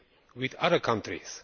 with other countries.